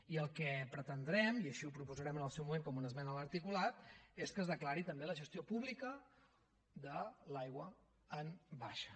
i el que pretendrem i així ho proposarem en el seu moment com una esmena a l’articulat és que es declari també la gestió pública de l’aigua en baixa